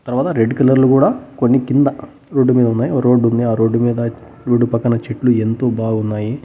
తర్వాత red colour లు కూడా కొన్ని కింద రోడ్డు మీద ఉన్నాయ్ రోడ్డు ఉంది ఆ రోడ్డు మీద రోడ్డు పక్కన చెట్లు ఎంతో బాగున్నాయి.